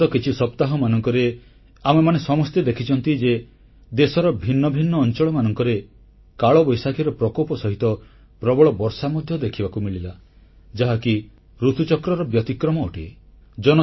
ବିଗତ କିଛି ସପ୍ତାହମାନଙ୍କରେ ଆମେମାନେ ସମସ୍ତେ ଦେଖିଛୁ ଯେ ଦେଶର ଭିନ୍ନଭିନ୍ନ ଅଂଚଳମାନଙ୍କରେ କାଳବୈଶାଖୀର ପ୍ରକୋପ ସହିତ ପ୍ରବଳ ବର୍ଷା ମଧ୍ୟ ଦେଖିବାକୁ ମିଳିଲା ଯାହାକି ଋତୁଚକ୍ରର ବ୍ୟତିକ୍ରମ ଅଟେ